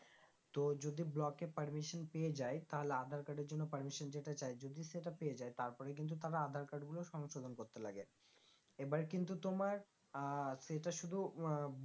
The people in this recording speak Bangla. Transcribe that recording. তো যদি block এর permission পেয়ে যাই তাহলে আধার card এর জন্য permission যেটা চাই যদি সেটা পেয়ে যাই তারপরে কিন্তু তারা আধার card গুলো সংশোধন করতে লাগে এবার কিন্তু তোমার আহ সেটা শুধু আহ